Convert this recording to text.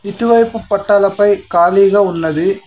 ఇటువైపు పట్టాలపై ఖాళీగా ఉన్నది.